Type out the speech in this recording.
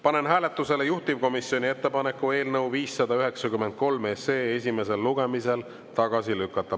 Panen hääletusele juhtivkomisjoni ettepaneku eelnõu 593 SE esimesel lugemisel tagasi lükata.